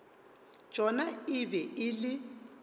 tšona e be e le